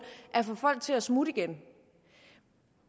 at få folk til at smutte igen